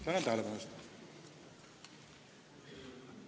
Tänan tähelepanu eest!